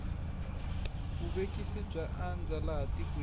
vuvekisi bya andza laha tikweni